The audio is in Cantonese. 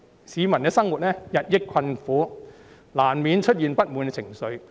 市民的生活日益困苦，難免出現不滿情緒。